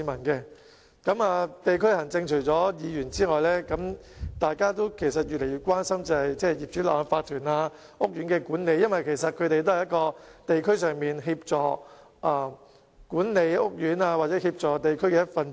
議員除了關心地區行政之外，亦越來越關心業主立案法團的情況及屋苑的管理，因為他們也是在地區上協助管理屋苑的一分子。